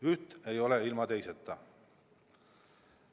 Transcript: Üht ei ole ilma teiseta.